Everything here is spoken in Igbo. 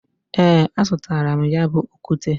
E, azutaram ya bu okute.